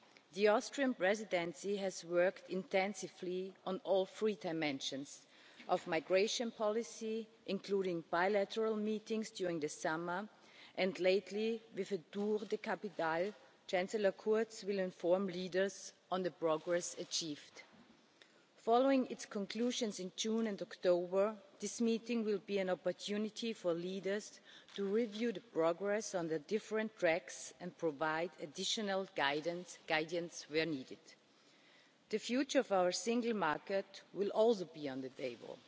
The Austrian Presidency has worked intensively on all three dimensions of migration policy, including in bilateral meetings during the summer and, later, in a tour des capitales, Chancellor Kurz will inform leaders of the progress achieved. Following the Council conclusions in June and October, this meeting will be an opportunity for leaders to review the progress on the different tracks and provide additional guidance where needed. The future of our single market will also be on the